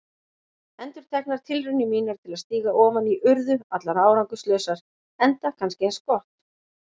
Endurteknar tilraunir mínar til að stíga ofan í urðu allar árangurslausar, enda kannski eins gott.